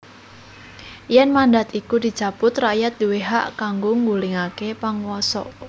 Yèn mandhat iku dicabut rakyat duwé hak kanggo nggulingaké panguwasa